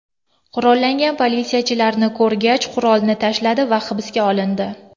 Qurollangan politsiyachilarni ko‘rgach, qurolni tashladi va hibsga olindi.